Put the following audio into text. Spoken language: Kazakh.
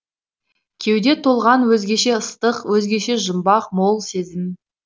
кеуде толған өзгеше ыстық өзгеше жұмбақ мол сезім